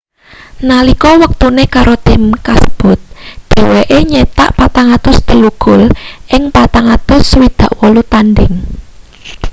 nalika wektune karo tim kasebut dheweke nyitak 403 gol ing 468 tandhing